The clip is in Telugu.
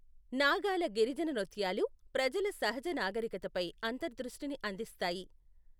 నాగాల గిరిజన నృత్యాలు ప్రజల సహజ నాగరికతపై అంతర్దృష్టిని అందిస్తాయి.